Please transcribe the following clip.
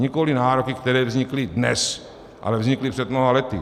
Nikoliv nároky, které vznikly dnes, ale vznikly před mnoha lety.